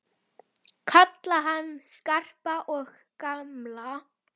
Kalla hann Skarpa og gamla!